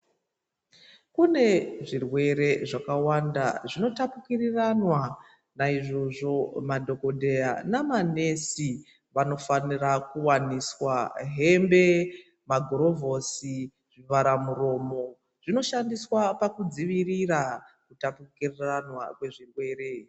Kune zvirwere zvakawanda zvinotapukiriranwa, naizvozvo madhokodheya nemanesi vanofanira kuwaniswa hembe, magirovhosi, zvivharamiromo zvinoshandiswa pakudzivirira kutapukiranwa kwezvirwere.